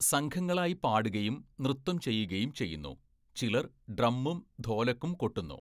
സംഘങ്ങളായി പാടുകയും നൃത്തം ചെയ്യുകയും ചെയ്യുന്നു, ചിലർ ഡ്രമ്മും ധോലക്കും കൊട്ടുന്നു.